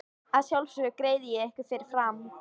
Að sjálfsögðu greiði ég ykkur fyrir fram.